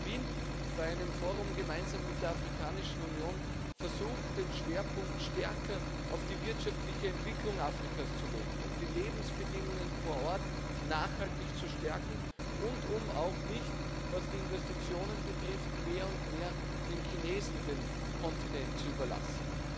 Wir haben in Wien bei einem Forum gemeinsam mit der Afrikanischen Union versucht, den Schwerpunkt stärker auf die wirtschaftliche Entwicklung Afrikas zu legen, um die Lebensbedingungen vor Ort nachhaltig zu stärken und auch um, was die Investitionen betrifft, nicht mehr und mehr den Chinesen den Kontinent zu überlassen.